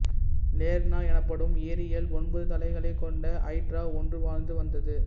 Lerna எனப்படும் ஏரியில் ஒன்பது தலைகளைக் கொண்ட ஐட்ரா ஒன்று வாழ்ந்து வந்தது